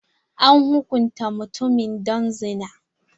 An hukunta mutumin don zina.